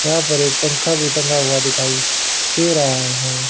यहां पर एक पंखा भी टंगा हुआ दिखाई दे रहा है।